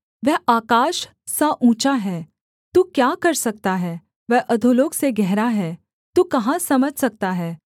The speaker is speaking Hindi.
वह आकाश सा ऊँचा है तू क्या कर सकता है वह अधोलोक से गहरा है तू कहाँ समझ सकता है